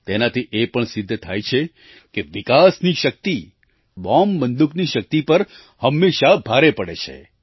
તેનાથી એ પણ સિદ્ધ થાય છે કે વિકાસની શક્તિ બોમ્બબંદૂકની શક્તિ પર હંમેશાં ભારે પડે છે